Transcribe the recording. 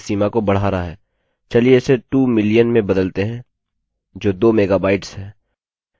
चलिए इसे 2 million में बदलते हैं जो 2 मेगाबाइट्स है